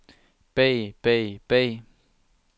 bag bag bag